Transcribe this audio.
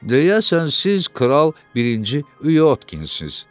Deyəsən siz Kral birinci Yotkinsiz.